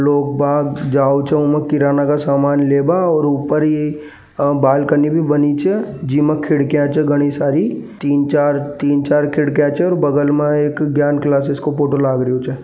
लोग भाग जाओ समान लेबा किरण का सामान लेबा ऊपर यह बालकनी भी बनी छी के में खिड़कियां छे घनी सारी तीन-चार खिड़कियां छे और बगल में एक ज्ञान क्लासेस का फोटो लग रिओ छे।